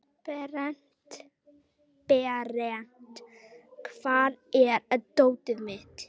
Berent, hvar er dótið mitt?